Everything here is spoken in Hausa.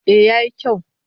Eh ya yi kyau